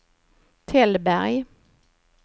Tällberg